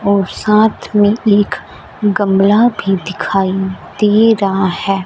और साथ में एक गमला भी दिखाई दे रहा है।